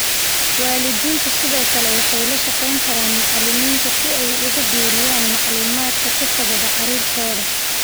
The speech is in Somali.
Waalidiintu sidoo kale waxay la shaqayn karaan macalimiinta si ay ugu biiriyaan macluumaadka ku saabsan carruurtooda